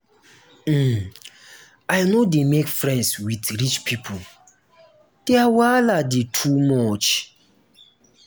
um i no dey make friends wit rich pipo their wahala dey too much.